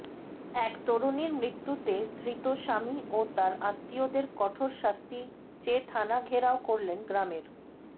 এক তরুণীর মৃত্যুতে ধৃত স্বামী ও তাঁর আত্মীয়দের কঠোর শাস্তি চেয়ে থানা ঘেরাও করলেন গ্রামের